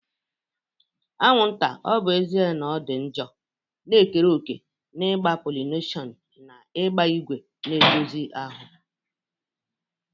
Anwụnta, ọ bụ ezie na ọ dị njọ, na-ekere òkè n'ịgba pollination na ịgba ígwè na-edozi ahụ.